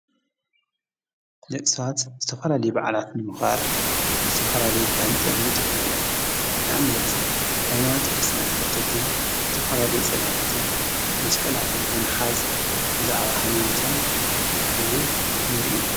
ነቕሳት ዝተፈላል ባዕላትን ኖዃር ዝተፈላለ በህን ጠ ብን ጥኦምእዮም ንኣምነት ኃይማያት ክርትና ተኽተልተይ ዝተፈላልይ ጸላላትን መስቀላትን ብምሓዝ ብዛዕባ ሃይማያቶም ኸዂሩ ንርኢና።